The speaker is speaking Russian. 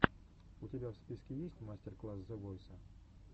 у тебя в списке есть мастер класс зе войса